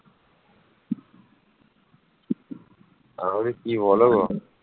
মগধের কথা রামায়ণ এবং মহাভারতে পাওয়া যায় বুদ্ধের সময়ে এটি ছিল ভারতের চারটি প্রধান রাজ্যের মধ্যে একটি